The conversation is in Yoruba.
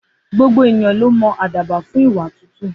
Gbogbo ènìyàn ló mọ àdàbà fún ìwà tútù.